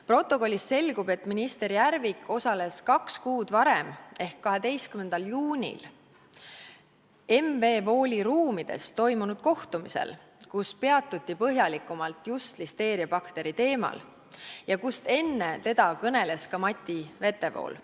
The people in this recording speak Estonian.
Protokollist selgub, et minister Järvik osales kaks kuud varem ehk 12. juunil M.V.Wooli ruumides toimunud kohtumisel, kus peatuti põhjalikumalt just listeeriabakteri teemal ja kus enne teda kõneles ka Mati Vetevool.